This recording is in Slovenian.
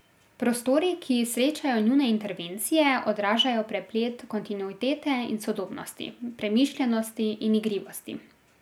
Prostori, ki srečajo njune intervencije, odražajo preplet kontinuitete in sodobnosti, premišljenosti in igrivosti.